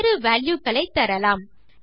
வேறு வால்யூ க்களை தரலாம்